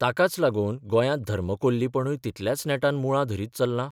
ताकाच लागून गोंयांत धर्मकोल्लीपणूय तितल्याच नेटान मुळां धरीत चल्लां?